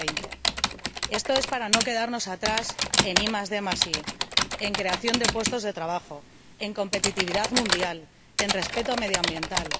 2020. Esto es para no quedarnos atrás en IDI, en creación de puestos de trabajo, en competitividad mundial, en respeto medioambiental.